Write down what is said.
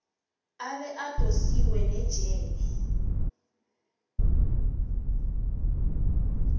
abe adosiswe nejele